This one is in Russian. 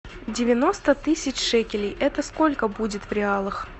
девяносто тысяч шекелей это сколько будет в реалах